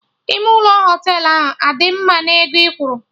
Ime ụlọ Họtelụ ahụ adị mma na ego ị kwuru?